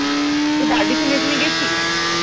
বারবিকিউনেশনে এ গেছিস?